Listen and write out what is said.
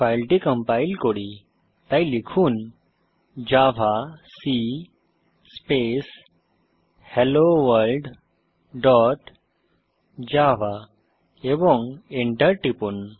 ফাইলটি কম্পাইল করি তাই লিখুন javac space hello world dot java এবং Enter টিপুন